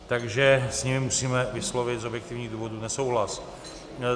Takže s ním musíme vyslovit z objektivních důvodů nesouhlas.